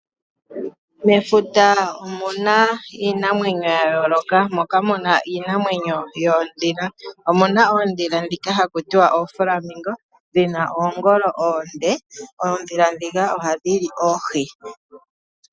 Mefuta omuna ya yooloka moka muna iinamwenyo yoondhila, omuna oondhila ndhoka haku tiwa ooflamingo dhina oongolo oonde. Oondhila ndhika ohadhi li oohi.